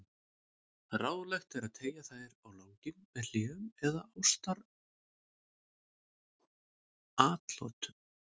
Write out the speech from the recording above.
Ráðlegt er að teygja þær á langinn með hléum eða ástaratlotum.